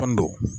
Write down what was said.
Kɔni don